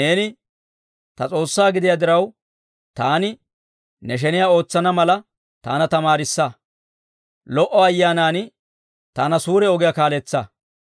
Neeni ta S'oossaa gidiyaa diraw, taani ne sheniyaa ootsana mala, taana tamaarissa; lo"o Ayyaanan taana suure ogiyaa kaaletsa.